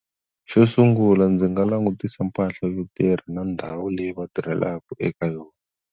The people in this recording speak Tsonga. Xo sungula ndzi nga langutisa mpahla yo tirha na ndhawu leyi va tirhelaka eka yona.